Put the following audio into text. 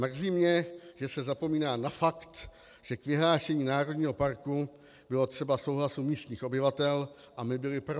Mrzí mě, že se zapomíná na fakt, že k vyhlášení národního parku bylo třeba souhlasu místních obyvatel, a my byli pro.